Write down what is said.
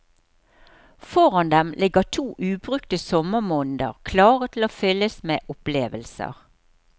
Foran dem ligger to ubrukte sommermåneder klare til å fylles med opplevelser.